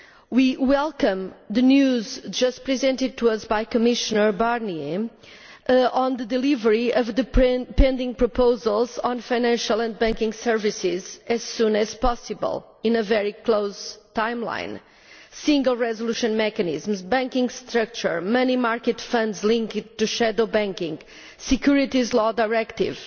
We welcome the news just presented to us by Commissioner Barnier on the delivery of pending proposals on financial banking services as soon as possible, in a very close timeline single resolution mechanisms, banking structure, money market funds linked to shadow banking, Securities Law Directive.